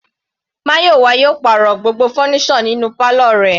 Mayowa yóò pàrọ̀ gbogbo fọ́nísọ̀ inú pálọ̀ rẹ̀.